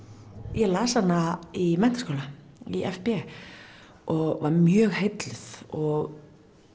ég las hana í menntaskóla í f b og var mjög heilluð og